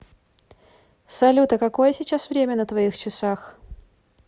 салют а какое сейчас время на твоих часах